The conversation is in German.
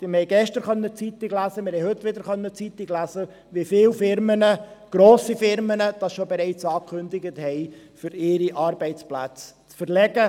Wir haben gestern in der Zeitung lesen können – und wir haben es auch heute in der Zeitung lesen können –, wie viele Firmen, grosse Firmen deshalb bereits angekündigt haben, ihre Arbeitsplätze zu verlegen.